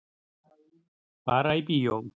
Fara í bíó.